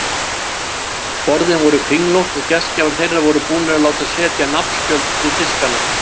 Borðin voru kringlótt og gestgjafar þeirra voru búnir að láta setja nafnspjöld við diskana.